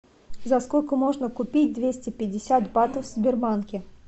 за сколько можно купить двести пятьдесят батов в сбербанке